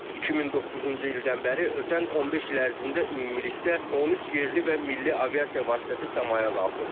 2009-cu ildən bəri ötən 15 il ərzində ümumilikdə 13 yerli və milli aviasiya vasitəsi səmaya qalxıb.